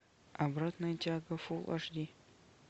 обратная тяга фулл аш ди